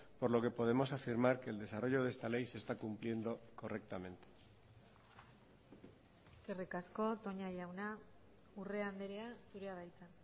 por lo que podemos afirmar que el desarrollo de esta ley se está cumpliendo correctamente eskerrik asko toña jauna urrea andrea zurea da hitza